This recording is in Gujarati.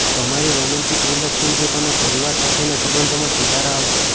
તમારી રોમેન્ટિક રિલેશનશીપ અને પરિવાર સાથેના સંબંધોમાં સુધાર આવશે